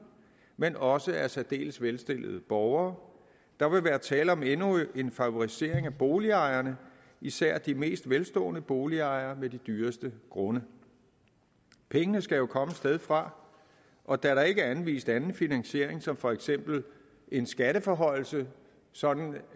men også af særdeles velstillede borgere der vil være tale om endnu en favorisering af boligejerne især de mest velstående boligejere med de dyreste grunde pengene skal jo komme et sted fra og da der ikke er anvist anden finansiering som for eksempel en skatteforhøjelse sådan